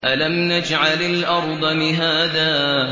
أَلَمْ نَجْعَلِ الْأَرْضَ مِهَادًا